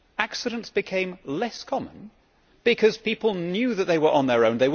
Accidents became less common, because people knew that they were on their own.